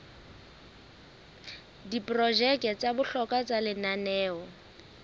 diprojeke tsa bohlokwa tsa lenaneo